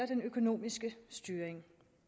den økonomiske styring